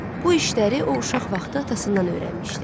Bu işləri o uşaq vaxtı atasından öyrənmişdi.